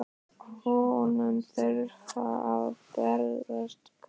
Honum þurfa að berast boðin í kvöld.